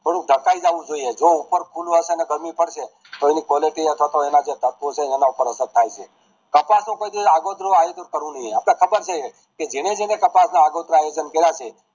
થોડુંક ઠકાય જવું જોઈએ જો ઉપર ખુલ્લું હશે ને ગરમી પડશે તો એની quality અથવા તો એના જે એના પર અસર થાય છે કપાસ નું જે આગોતરું આયોજન કરવું જોઈએ આપણે ખબર છે કે જેને જેને કપાસ ના આગોતરા આયોજન કરા છે